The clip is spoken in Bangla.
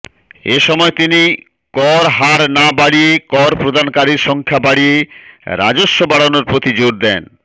এসময় তিনি কর হার না বাড়িয়ে কর প্রদানকারীর সংখ্যা বাড়িয়ে রাজস্ব বাড়ানোর প্রতি জোর দেন